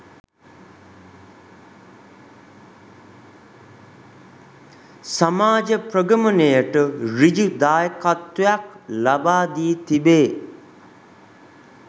සමාජ ප්‍රගමනයට සෘජු දායකත්වයක් ලබා දී තිබේ.